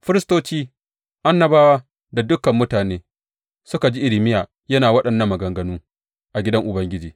Firistoci, annabawa da dukan mutane suka ji Irmiya yana waɗannan maganganu a gidan Ubangiji.